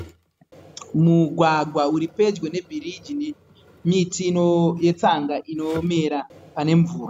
Mugwagwa uri pedyo nebiriji miti yetsanga inomera pane mvura.